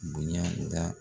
Bonɲa da